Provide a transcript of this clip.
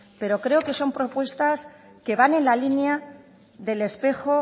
pero creo que son propuestas que van en la línea del espejo